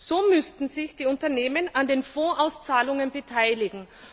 So müssten sich die Unternehmen an den Fondsauszahlungen beteiligen.